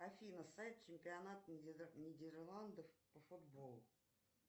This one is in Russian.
афина сайт чемпионат нидерландов по футболу